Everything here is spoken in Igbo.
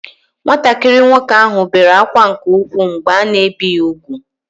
Nwatakịrị nwoke ahụ bere akwa nke ụkwụ mgbe a na ebi ya ugwu